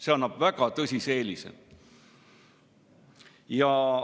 See annab väga tõsise eelise!